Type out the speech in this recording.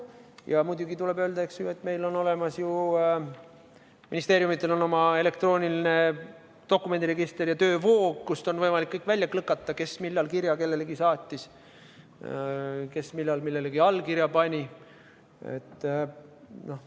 Ja muidugi tuleb öelda, et meil on ju ministeeriumidel oma elektrooniline dokumendiregister ja töövoog, kust on võimalik kõik välja klikata, kes millal kirja kellelegi saatis, kes millal millelegi allkirja pani.